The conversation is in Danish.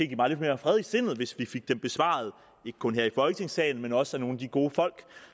give mig lidt mere fred i sindet hvis vi fik dem besvaret ikke kun her i folketingssalen men også af nogle af de gode folk